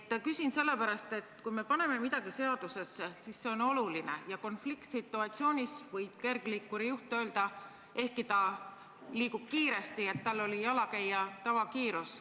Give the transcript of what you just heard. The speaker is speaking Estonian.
Küsin sellepärast, et kui me paneme midagi seadusesse, siis see on oluline, ja konfliktsituatsioonis võib kergliikuri juht öelda, ehkki ta liikus kiiresti, et tal oli jalakäija tavakiirus.